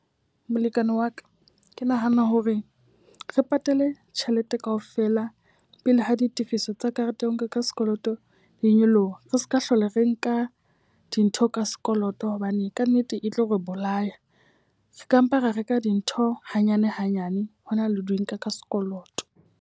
Molekane wa ka, ke nahana hore re patale tjhelete ka ofela pele ha ditifiso tsa karete ya ho reka ka sekoloto di nyoloha. Re seka hlola re nka dintho ka sekoloto hobane ka nnete e tlo re bolaya. Re ka mpa ra reka dintho hanyane hanyane, ho na le di nka ka sekoloto.